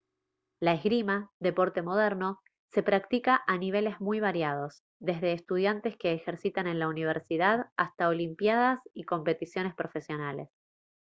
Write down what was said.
la esgrima deporte moderno se practica a niveles muy variados desde estudiantes que ejercitan en la universidad hasta olimpiadas y competiciones profesionales